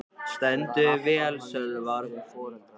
Þú stendur þig vel, Sölvar!